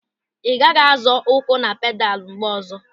Ị gaghị azọ ụkwụ na pedalu mgbe ọzọ.